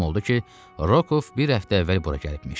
Məlum oldu ki, Rokov bir həftə əvvəl bura gəlibmiş.